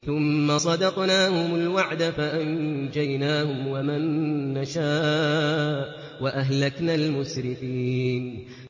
ثُمَّ صَدَقْنَاهُمُ الْوَعْدَ فَأَنجَيْنَاهُمْ وَمَن نَّشَاءُ وَأَهْلَكْنَا الْمُسْرِفِينَ